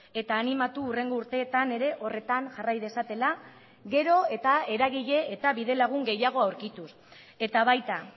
eta animatu hurrengo urteetan ere horretan jarrai dezatela gero eta eragile eta bide lagun gehiago aurkituz eta baita